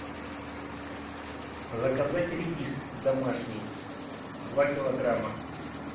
заказать редис домашний два килограмма